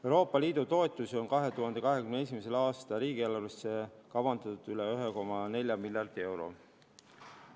Euroopa Liidu toetusi on 2021. aasta riigieelarvesse kavandatud üle 1,4 miljardi euro.